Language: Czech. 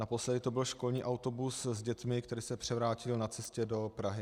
Naposledy to byl školní autobus s dětmi, který se převrátil na cestě do Prahy.